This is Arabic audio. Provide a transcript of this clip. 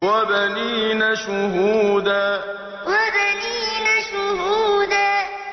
وَبَنِينَ شُهُودًا وَبَنِينَ شُهُودًا